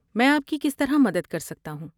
میں آپ کی کس طرح مدد کر سکتا ہوں؟